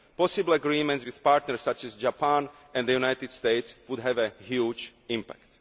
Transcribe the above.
term. Possible agreements with partners such as Japan and the United States would have a huge